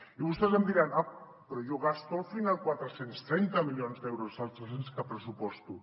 i vostès em diran ah però jo gasto al final quatre cents i trenta milions d’euros dels tres cents que pressuposto